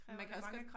Man kan også godt